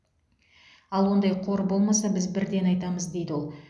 ал ондай қор болмаса біз бірден айтамыз дейді ол